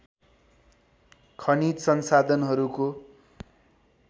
खनिज संसाधनहरूको